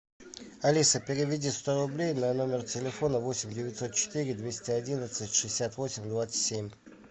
алиса переведи сто рублей на номер телефона восемь девятьсот четыре двести одиннадцать шестьдесят восемь двадцать семь